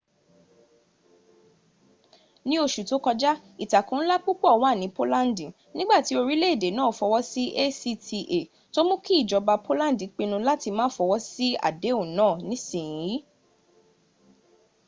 ni osu to koja itako nla pupo wa ni polandi nigbati orileede naa fowo si acta to muu ki ijoba polandi pinu lati ma fowo si adehun naa nisiyin